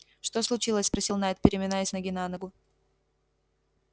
что случилось спросил найд переминаясь с ноги на ногу